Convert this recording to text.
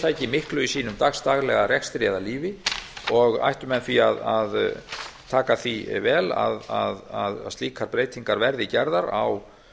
fyrirtæki miklu í sínum dagsdaglega rekstri eða lífi og ættu menn því að taka því vel að slíkar breytingar verði gerðar á